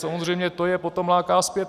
Samozřejmě to je potom láká zpět.